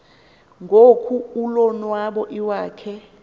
ngoko ulonwabo iwakhe